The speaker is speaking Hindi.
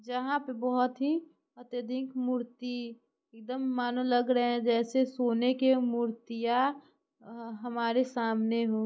जहां पे बोहत ही अत्यधिक मूर्ति एकदम मने लेग रे हैं जैसे सोने का मुर्तिया हमारी सामने हो।